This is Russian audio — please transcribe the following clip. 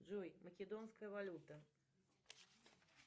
джой македонская валюта